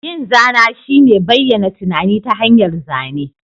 Yin zana shine bayyana tunani ta hanyar zane.